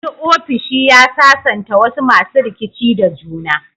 Wani ofishi ya sasanta wasu masu rikici da juna.